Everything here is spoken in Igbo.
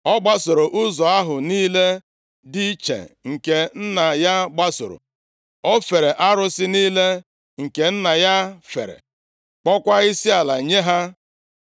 Ọ gbasoro ụzọ ahụ niile dị iche nke nna ya gbasoro. O fere arụsị niile nke nna ya fere, kpọọkwa isiala nye ha. + 21:21 \+xt Nkp 2:12-13; 1Ez 11:33\+xt*